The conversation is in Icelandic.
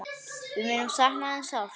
Við munum sakna þín sárt.